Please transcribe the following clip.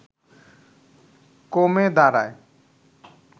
কমে দাঁড়ায়